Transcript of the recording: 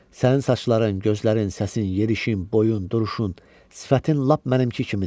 Sənin saçların, gözlərin, səsin, yerişin, boyun, duruşun, sifətin lap mənimki kimidir.